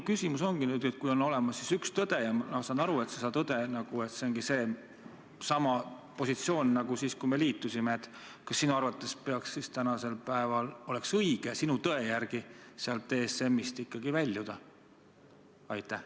Kui on olemas üks tõde – ja ma saan aru, et see tõde ongi seesama positsioon nagu sul oli siis, kui me liitusime –, siis kas sinu arvates oleks praegu õige ikkagi sealt ESM-ist väljuda?